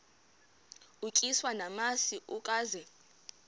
utyiswa namasi ukaze